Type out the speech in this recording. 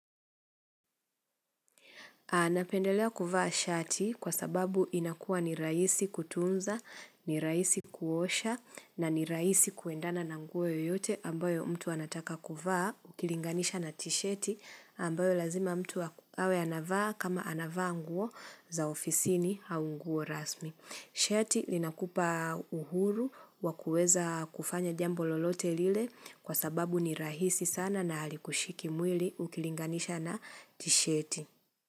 Napendelea kuvaa shati kwa sababu inakua ni rahisi kutunza, ni raisi kuosha na ni raisi kuendana na nguo yote ambayo mtu anataka kuvaa ukilinganisha na tisheti ambayo lazima mtu awe anavaa kama anavaa nguo za ofisini au nguo rasmi. Shati linakupa uhuru wakueza kufanya jambo lolote lile kwa sababu ni rahisi sana na halikushiki mwili ukilinganisha na tisheti.